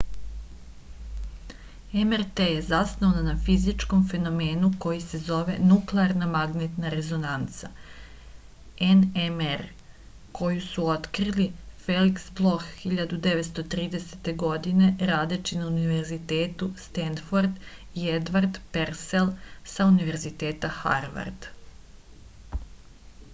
mrt је заснована на физичком феномену који се зове нуклеарна магнетна резонанца nmr коју су открили феликс блох 1930. године радећи на универитету стенфорд и едвард персел са универзитета харвард